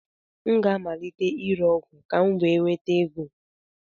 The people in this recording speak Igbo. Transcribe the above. Aga m amalite ire ọgwụ ka m wee nweta ego.